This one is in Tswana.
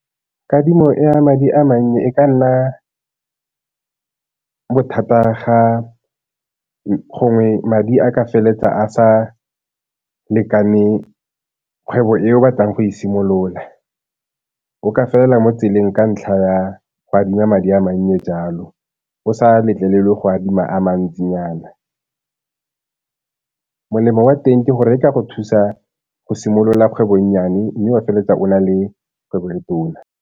Kadimo ya madi a mannye e ka nna bothata ga gongwe madi a ka feletsa a sa lekane kgwebo e o batlang go e simolola, o ka felela mo tseleng ka ntlha ya go adima madi a mannye jalo, o sa letlelelwe go adima a mantsinyana. Molemo wa teng ke gore e ka go thusa go simolola kgwebo e nnyane mme wa feleletsa o na le kgwebo le tona.